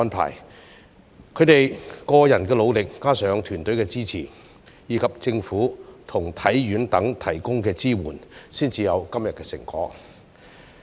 憑藉他們個人的努力，加上團隊的支持，以及政府和香港體育學院等提供的支援，運動員才有今天的成果。